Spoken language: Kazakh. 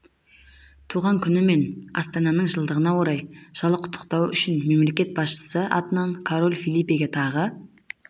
туған күні мен астананың жылдығына орай жылы құттықтауы үшін мемлекет басшысы атынан король фелипеге тағы